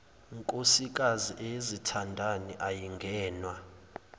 nkosikazi eyezithandani ayingenwa